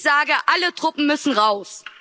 Ich sage Alle Truppen müssen raus!